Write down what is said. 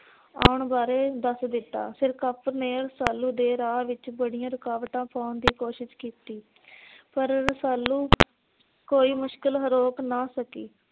ਆਉਣ ਬਾਰੇ ਦੱਸ ਦਿੱਤਾ। ਸਿਰਕਪ ਨੇ ਰੁਸਾਲੂ ਦੇ ਰਾਹ ਵਿੱਚ ਬੜੀਆਂ ਰੁਕਵਾਟਾਂ ਪਾਉਣ ਦੀ ਕੋਸ਼ਿਸ਼ ਕੀਤੀ। ਪਰ ਰੁਸਾਲੂ ਕੋਈ ਮੁਸ਼ਕਿਲ ਰੋਕ ਨਾ ਸਕੀ।